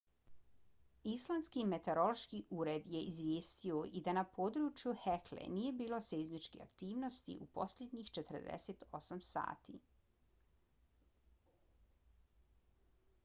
islandski meteorološki ured je izvijestio i da na području hekle nije bilo seizmičkih aktivnosti u posljednjih 48 sati